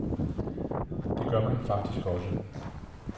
Det gør man faktisk også.